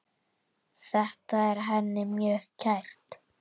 Þetta er henni mjög kært.